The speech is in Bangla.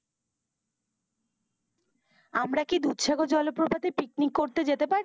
আমরা কি দুধসাগর জলপ্রপাতে picnic করতে যেতে পারি?